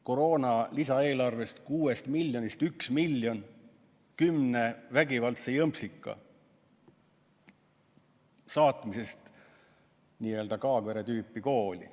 Koroona lisaeelarve kuuest miljonist üks miljon läheb kümne vägivaldse jõmpsika saatmiseks n‑ö Kaagvere tüüpi kooli.